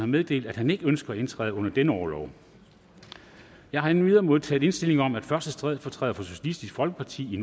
meddelt at han ikke ønsker at indtræde under denne orlov jeg har endvidere modtaget indstilling om at første stedfortræder for socialistisk folkeparti i